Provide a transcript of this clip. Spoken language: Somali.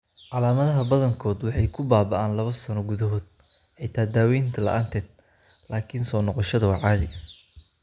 Calaamadaha badankood waxay ku baaba'aan laabo sano gudahood (xitaa daawaynta la'aanteed), laakiin soo noqoshada waa caadi.